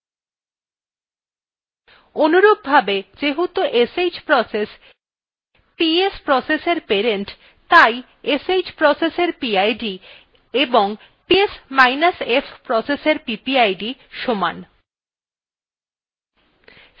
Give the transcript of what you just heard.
অনুরূপভাবে যেহেতু sh process ps process এর parent তাই sh processএর pid of psf processএর ppid সমান